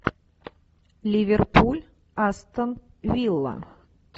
ливерпуль астон вилла